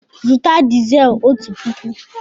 Zụta dizel ọtu pụkụ!